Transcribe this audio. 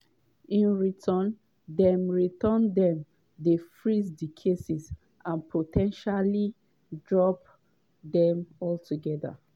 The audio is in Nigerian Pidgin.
in return dem return dem dey freeze dia cases and po ten tially drop dem altogether.